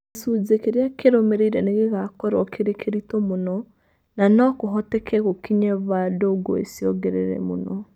Gĩcunjĩ kĩrĩa kĩrũmĩrĩire nĩ gĩgakorũo kĩrĩ kĩritũ mũno, na no kũhoteke gukinye vandũ ngũi ciongerere mũno".